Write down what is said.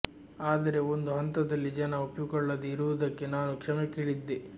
ಆದರೆ ಒಂದು ಹಂತದಲ್ಲಿ ಜನ ಒಪ್ಪಿಕೊಳ್ಳದೆ ಇರುವುದಕ್ಕೆ ನಾನು ಕ್ಷಮೆ ಕೇಳಿದ್ದೆ